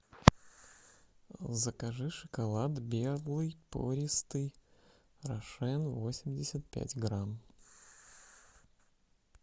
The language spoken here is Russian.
закажи шоколад белый пористый рошен восемьдесят пять грамм